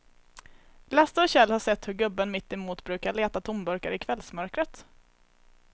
Lasse och Kjell har sett hur gubben mittemot brukar leta tomburkar i kvällsmörkret.